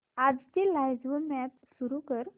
आजची live match सुरू कर